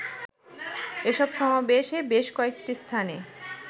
এসব সমাবেশে বেশ কয়েকটি স্থানে